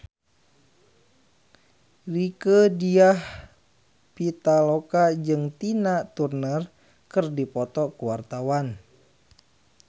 Rieke Diah Pitaloka jeung Tina Turner keur dipoto ku wartawan